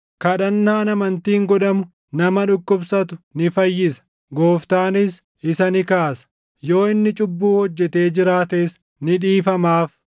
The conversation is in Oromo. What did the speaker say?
Kadhannaan amantiin godhamu nama dhukkubsatu ni fayyisa; Gooftaanis isa ni kaasa. Yoo inni cubbuu hojjetee jiraates ni dhiifamaaf.